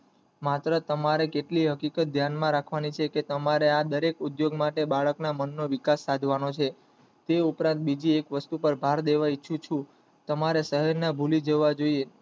માત્ર તમારે કેટલી હકીકત ધ્યાન માં રાખવાની છે કે તમારે આ દરેક ઉદ્યયોગ માટે બાળક ના મન નો વિકાસ સાધવાનો છે તે ઉપરાંત બીજી એક વસ્તુ કે ભારદેવ ઈચ્છું છું તમારે શહેર ને ભૂલી જવા જોયે